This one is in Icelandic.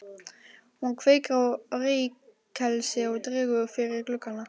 Hún kveikir á reykelsi og dregur fyrir gluggana.